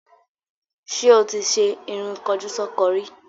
Ṣé o ti ṣe irun kọjúsọ́ko rí?